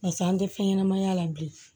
Barisa an tɛ fɛn ɲɛnamaya la bilen